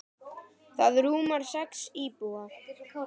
Það rúmar sex íbúa.